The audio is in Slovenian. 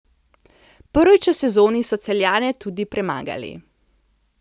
Prvič v sezoni so Celjane tudi premagali.